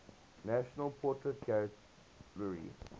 national portrait gallery